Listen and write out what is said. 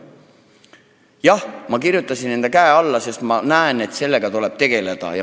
Jah, ma panin enda käe eelnõule alla, sest minu arvates sellega tuleb tegeleda.